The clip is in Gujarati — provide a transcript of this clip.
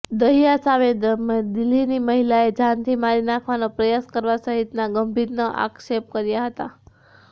દહિયા સામે દિલ્હીની મહિલાએ જાનથી મારી નાખવાનો પ્રયાસ કરવા સહિતના ગંભીર આક્ષેપ કર્યા હતા